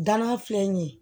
Danna filɛ nin ye